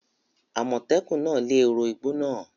Àmọ̀tẹ́kùn náà lé ehoro igbó náà.